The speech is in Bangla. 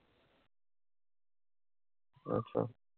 আচ্ছা।